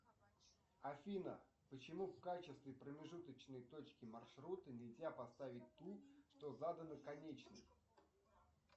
афина почему в качестве промежуточной точки маршрута нельзя поставить ту что задана конечной